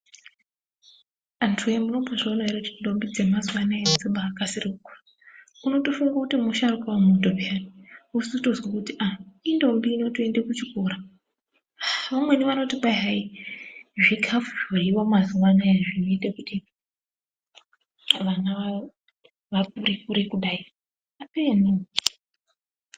Antuwoye munombozviona here kuti ndombi dzemazuva anaya dzobaakasira kukura unotofunga kuti musharukwa wemuntu piyani wozotozwa kuti aah indombi inotoenda kuchikora, vamweni vanoti kwayi hayi zvikafu zvoryiwa mazuva anaya zvinoite kuti vana vakure kure kudai apenoo.